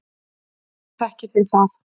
Hvernig þekkið þið það?